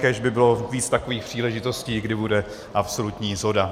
Kéž by bylo víc takových příležitostí, kdy bude absolutní shoda.